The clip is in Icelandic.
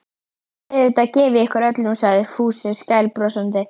Auðvitað gef ég ykkur öllum sagði Fúsi skælbrosandi.